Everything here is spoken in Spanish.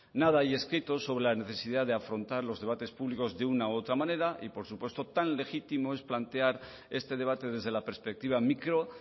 nada hay escrito sobre la necesidad de afrontar los debates públicos de una u otra manera y por supuesto tan legítimo es plantear este debate desde la perspectiva micro